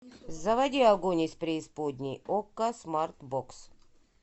заводи огонь из преисподней окко смарт бокс